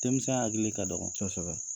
Denmisɛn hakili ka dɔgɔn. Kosɛbɛ.